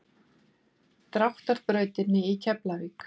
Dráttar brautinni í Keflavík.